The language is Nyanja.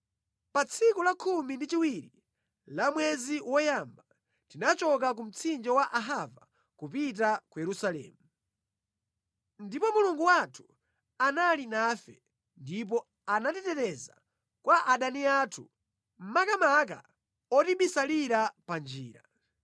Pa tsiku la khumi ndi chiwiri la mwezi woyamba, tinachoka ku mtsinje wa Ahava kupita ku Yerusalemu. Ndipo Mulungu wathu anali nafe, ndipo anatiteteza kwa adani athu makamaka otibisalira pa njira.